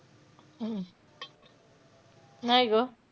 हम्म नाही गं.